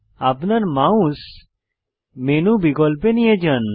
আপনার mouse menu বিকল্পে নিয়ে যান